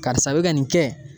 Karisa bɛ ka nin kɛ